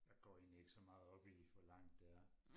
Jeg går egentlig ikke så meget op i hvor langt det er